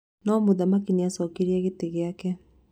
No mũthaki nĩacokeirie gĩtĩ gĩake